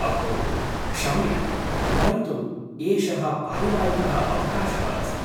अहो, क्षम्यः, परन्तु एषः पारिवारिकः अवकाशः अस्ति।